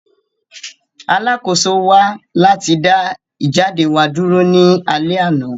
Alakoso wa lati da ijade wa duro ni alẹ ana.